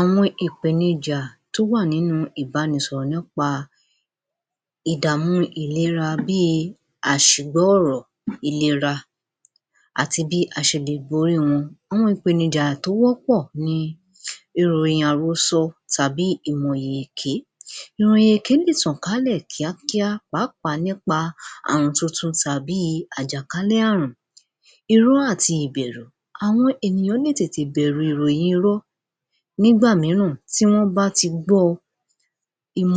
Àwọn ìpènijà tó wà nínú ìbanisọ̀rọ̀ nípa ìdàmú ìlera bí i àṣìgbọ́ ọ̀rọ̀ ìlera àti bí a ṣe lè borí wọn. Àwọn ìpènijà tó wọ́pọ̀ ni ìròyìn àrósọ tàbí ìròyìn èké. Ìròyìn èké lè tàn kálẹ̀ kíákíá pàápàá nípa ààrùn tuntun tàbí àjàkálẹ̀ ààrùn. Irọ́ àti ìbẹ̀rù, àwọn ènìyàn lè tètè bẹ̀rù ìròyìn irọ́ núgbà mìíràn tí wọ́n bá ti gbọ́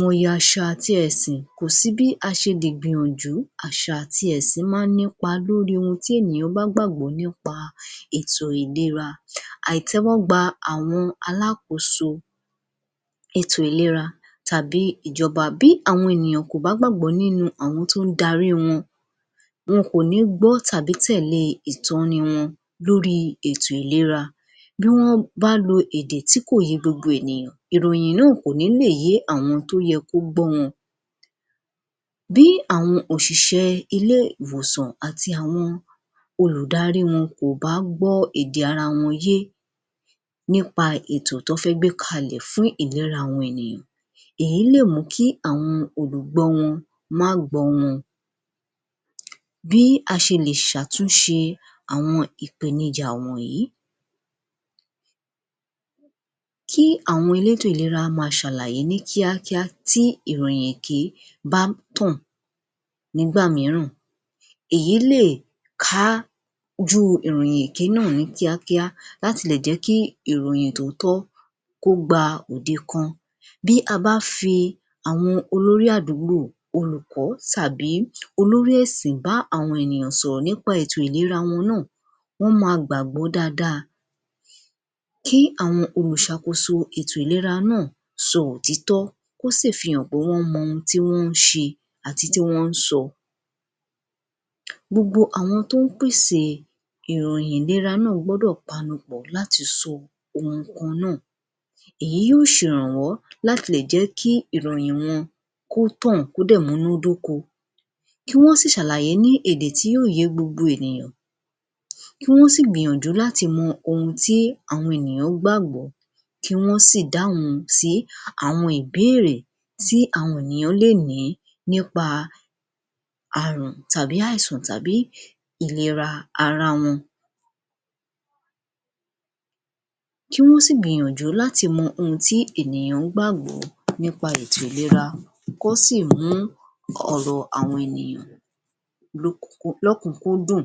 ọ àṣà àti ẹ̀sìn kò sí bí a ṣe lè gbìyànjú àṣà àti ẹ̀sìn máa ń nípa lórí ohun tí ènìyàn bá gbàgbọ́ nípa ètò ìlera. Àìtẹ́wọ́ gba àwọn alákoóso ètò ìlera tàbí ìjọba, bí àwọn ènìyàn kò bá gbàgbọ́ nínú àwọn tó ń darí wọn, wọn kò ní gbọ́ tàbí tẹ̀lé ìtọni wọn lórí ètò ìlera. Bí wọ́n bá lo èdè tí kò yé gbogbo ènìyàn ìròyìn náà kò ní lè yé àwọn tó yẹ kó gbọ́ wọn. Bí àwọn òṣìṣẹ́ ilé ìwòsàn àti àwọn olùdarí wọn kò bá gbọ́ èdè ara wọn yé nípa ètò tí wọ́n fẹ́ gbé kalẹ̀ fún ìlera àwọn ènìyàn èyí lè mú kí àwọn olùgbọ wọn máa gbọ́ wọn. Bí a ṣe lè ṣàtúnṣe àwọn ìpènijà wọ̀nyí. Kí àwọn elétò ìlera máa ṣàlàyé ní kíákíá tí ìròyìn èké bá ń tàn. Nígbà mìíràn èyí lè kájú ìròyìn èké náà ní kíákíá láti lè jẹ́ kí ìròyìn tòótọ́ kó gba òde kan. Bí a bá fi àwọn olórí àdúgbò, olùkọ́ tàbí olórí ẹ̀sìn bá àwọn ènìyàn sọ̀rọ̀ nípa ìlera wọn náà, wọ́n máa gbàgbọ́ dáadáa. Kí àwọn olùṣàkóso ètò ìlera náà sọ òtítọ́ kí wọ́n sì fi hàn pé wọ́n mọ ohun tí wọ́n ń ṣe àti tí wọ́n ń sọ. Gbogbo àwọn tó ń pèsè ìròyìn ìlera náà gbọ́dọ̀ panupọ̀ láti sọ ohun kan náà. Èyí yóò ṣè rànwọ́ láti lè jẹ́ kií ìròyìn wọn kó tàn kó dẹ̀ múná d’óko, kí wọ́n sì ṣàlàyé ní èdè tí yóò yé gbogbo ènìyàn, kí wọ́n sì gbìyànjú láti mọ ohun tí àwọn ènìyàn gbàgbọ́, kí wọ́n sì dáhùn sí àwọn ìbéèrè tí àwọn ènìyàn lè ní nípa ààrùn tàbí àìsàn tàbí ìlera ara wọn, kí wọ́n sì gbìyànjú láti mọ ohun tí ènìyàn gbàgbọ́ nípa ètò ìlera kó sì mú ọ̀rọ̀ àwọn ènìyàn um lókùnkúndùn.